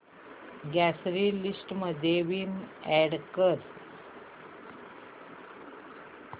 grocery list मध्ये Vim add कर